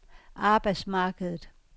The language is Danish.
arbejdsmarkedet